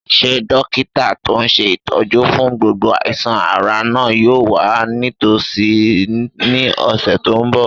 Ṣé dókítà tó n ṣe ìtọ́jú fún gbogbo àìsàn-ara náà yóò wà nítòsí ní ọ̀sẹ̀ tó n bọ̀?